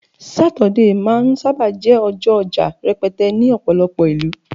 Saturday ma n saba jé ọjọ oja rẹpẹtẹ ní ọpọlọpọ ìlú